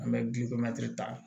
An bɛ ta